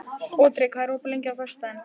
Otri, hvað er opið lengi á föstudaginn?